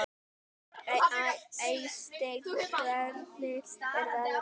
Eysteinn, hvernig er veðrið í dag?